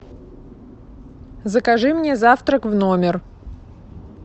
закажи мне завтрак в номер